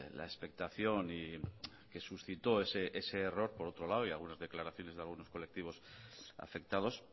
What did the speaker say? la expectación que suscitó ese error por otro lado y algunas declaraciones de algunos colectivos afectados